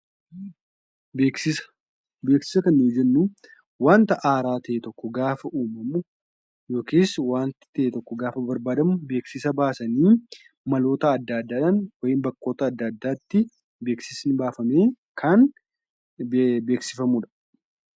Beeksisa Beeksisa kan nuyi jennu wanta haaraa ta'e tokko gaafa uumamu yookiis wanti ta'e tokko gaafa barbaadamu, beeksisa baasanii, maloota adda addaadhaan 'wayim' bakkoota adda addaatti beeksisni baafamee kan beeksifamuu dha.